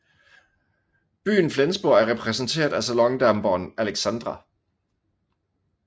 Byen Flensborg er repræsenteret af salondamperen Alexandra